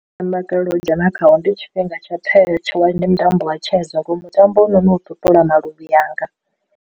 U dzhena khao ndi tshifhinga tsha ndi mutambo wa chess ngori mutambo hoyunoni u ṱuṱula maluvhi anga.